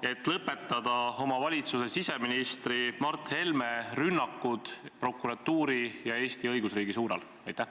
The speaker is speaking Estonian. et lõpetada oma valitsuse siseministri Mart Helme rünnakud prokuratuuri ja Eesti õigusriigi suunal?